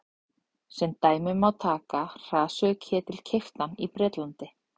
sem dæmi má taka hraðsuðuketil keyptan í bretlandi